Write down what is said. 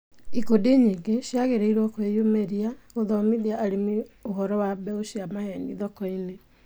Ikundi nyingĩ ciagĩrĩirwo ciĩyumĩrie gũthomithia arĩmi ũhoro wa mbeũ cia maheeni thokoinĩ.